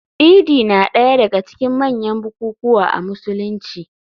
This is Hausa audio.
Idi na daya daga cikin manyan bukukuwa a Musulunci.